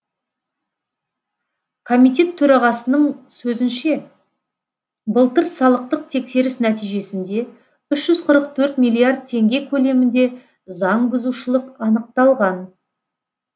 комитет төрағасының сөзінше былтыр салықтық тексеріс нәтижесінде үш жүз қырық төрт миллиард теңге көлемінде заңбұзушылық анықталған